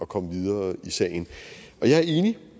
komme videre i sagen jeg er enig